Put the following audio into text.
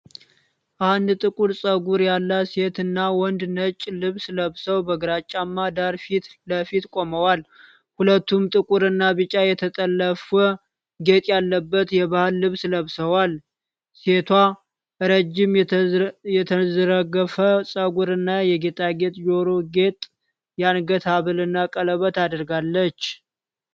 አንድ ጥቁር ፀጉር ያላት ሴትና ወንድ ነጭ ልብስ ለብሰው በግራጫማ ዳራ ፊት ለፊት ቆመዋል። ሁለቱም ጥቁርና ቢጫ የተጠለፈ ጌጥ ያለበት የባህል ልብስ ለብሰዋል። ሴቷ ረጅም የተንዘረገፈ ፀጉርና የጌጣጌጥ ጆሮ ጌጥ፣ የአንገት ሐብልና ቀለበት አድርጋለች።